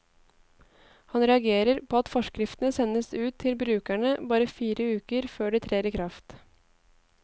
Han reagerer på at forskriftene sendes ut til brukerne bare fire uker før de trer i kraft.